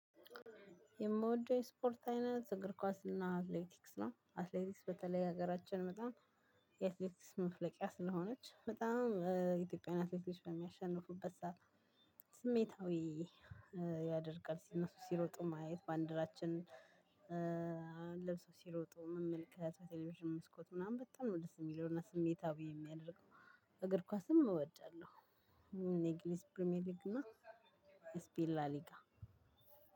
የምወደው የስፖርት አይነት እግር ኳስ እና አትሌቲክስ ነው አትሌቲክስ በተለይ ሀገራችን በጣም የአትሌቲክስ መፍለቂያ ስለሆነች በጣም ኢትዮጵያናትያን አትሌቶች በሚያሸንፉበት ሰዓት ስሜታዊ ያደርጋል። እነሱ ሲሮጡ ማየት ባንደራችን ለብሶ ሲሮጡ መመልከት ቴሌቬሽን መስኮት ምናምን በጣም ነው ደስ ሚለው እና ስሜታዊ ሚያደርገው። እግር ኳስም እወዳለሁ። እኔ እንግሊዝ ፕሪሚየር ሊግ እና ስፒኤን ላሊጋ